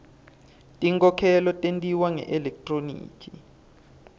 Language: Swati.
tinkhokhelo tentiwa ngelekthroniki